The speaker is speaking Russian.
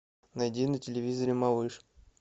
найди на телевизоре малыш